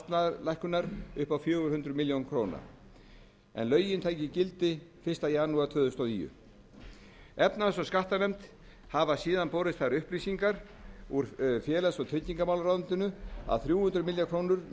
áætlaðrar kostnaðarlækkunar upp á fjögur hundruð milljóna króna ef lögin tækju gildi fyrsta janúar tvö þúsund og níu efnahags og skattanefnd hafa síðan borist þær upplýsingar úr félags og tryggingamálaráðuneyti að þrjú hundruð milljóna króna